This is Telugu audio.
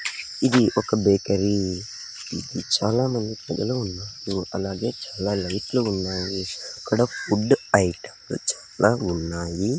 ఇది ఒక బేకరీ ఇది చాలామంది పిల్లలు ఉన్నారు అలాగే చాలా లైట్ లు ఉన్నాయి ఇక్కడ ఫుడ్ ఐటమ్ లు చాలా ఉన్నాయి.